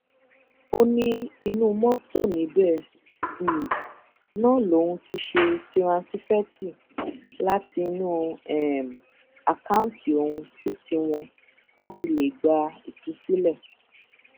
ó ní inú mọtò níbẹ um náà lòun ti ṣe tiransífẹtì látinú um àkáùtì òun sí tiwọn láti lè gba ìtúsílẹ